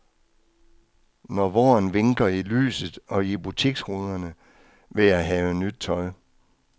Når våren vinker i lyset og i butiksruderne, vil jeg have nyt tøj.